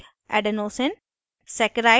* nucliosideadenosine